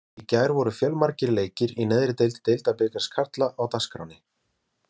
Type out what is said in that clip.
Í gær voru fjölmargir leikir í neðri deild Deildabikars karla á dagskránni.